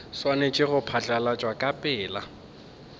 swanetše go phatlalatšwa ka pela